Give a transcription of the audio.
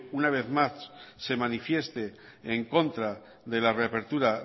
una vez más se manifieste en contra de la reapertura